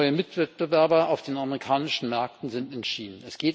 Neue Mitwettbewerber auf den amerikanischen Märkten sind erschienen.